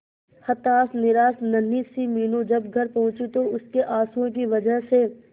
हताश निराश नन्ही सी मीनू जब घर पहुंची तो उसके आंसुओं की वजह से